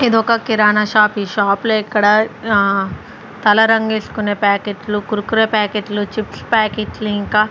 ఇదొక కిరాణా షాప్ ఈ షాప్ లో ఇక్కడ ఆ తెల్ల రేంగేస్కునే ప్యాకెట్ లు కుర్కురే ప్యాకెట్ లు చిప్స్ ప్యాకెట్ లు ఇంకా --